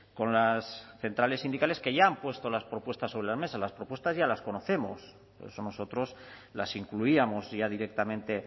con las centrales sindicales que ya han puesto las propuestas sobre la mesa las propuestas ya las conocemos por eso nosotros las incluíamos ya directamente